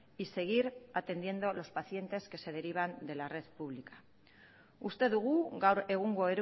y seguir atendiendo los pacientes que se derivan de la red pública uste dugu gaur egungo